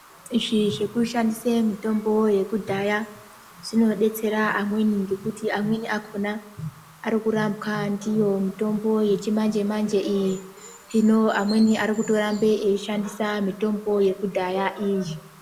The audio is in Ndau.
Izvi zvekushandise mitombo yekudhaya zvinodetsera amweni ngekuti amweni akhona arikurambwa ndiyo mitombo yechimanje manje iyi hino amweni arikutorambe eishandisa mitombo yekudhaya iyi.